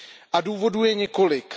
A důvodů je několik.